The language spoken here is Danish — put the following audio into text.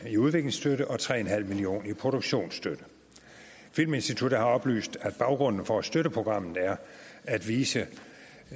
i udviklingsstøtte og tre en halv million kroner i produktionsstøtte filminstituttet har oplyst at baggrunden for at støtte programmet er at vise